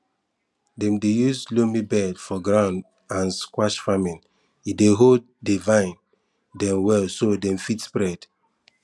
dem dey use loamy bed for gourd and squash farming e dey hold di vine dem well so dem fit spread